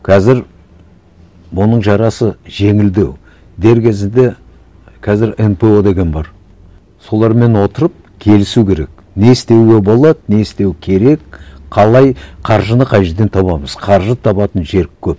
қазір бұның жарасы жеңілдеу дер кезінде қазір нпо деген бар солармен отырып келісу керек не істеуге болады не істеу керек қалай қаржыны қай жерден табамыз қаржы табатын жер көп